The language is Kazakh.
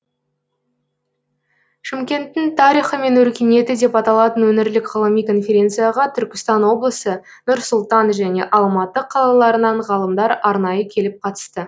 шымкенттің тарихы мен өркениеті деп аталатын өңірлік ғылыми конференцияға түркістан облысы нұр сұлтан және алматы қалаларынан ғалымдар арнайы келіп қатысты